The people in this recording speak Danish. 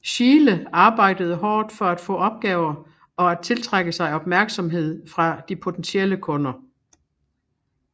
Schiele arbejdede hårdt for at få opgaver og at tiltrække sig opmærksomhed fra de potentielle kunder